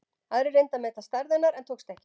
Aðrir reyndu að meta stærð hennar en tókst ekki.